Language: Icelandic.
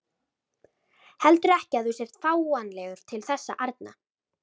Heldurðu ekki að þú sért fáanlegur til þess arna?